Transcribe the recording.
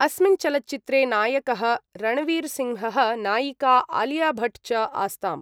अस्मिन् चलच्चित्रे नायकः रणवीरसिंहः नायिका आलियाभट् च आस्ताम्।